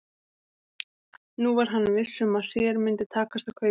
Nú var hann viss um að sér myndi takast að kaupa